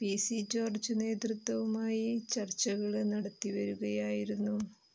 P C George നേതൃത്വവുമായി ചര്ച്ചകള് നടത്തിവരികയായിരുന്നു